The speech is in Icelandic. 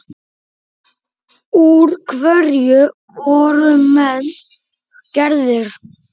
Úr hverju voru menn gerðir?